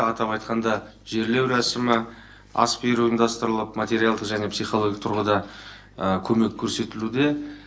атап айтқанда жерлеу рәсімі ас беру ұйымдастырылып материалдық және психологиялық тұрғыда көмек көрсетілуде